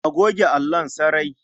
A goge allon sarai.